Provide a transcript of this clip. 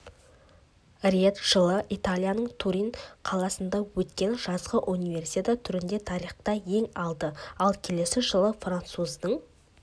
рет жылы италияның турин қаласында өткен жазғы универсиада түрінде тарихқа енді ал келесі жылы француздың